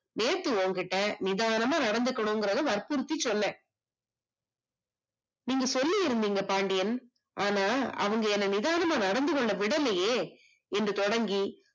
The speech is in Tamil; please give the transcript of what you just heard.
நேத்து ஓங்கிட்ட நிதானமா நடந்துக்கணும் கரத வர்புடித்தி சொன்னே. நீங்க சொல்லிருந்திங்க பாண்டியன், ஆனா அவங்க என்ன நிதானமா நடந்துகொள்ள விடலையே என்று தொடங்கி